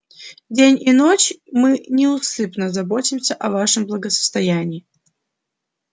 день и ночь мы неусыпно заботимся о вашем благосостоянии